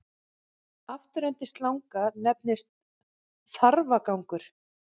Afturendi slanga nefnist þarfagangur.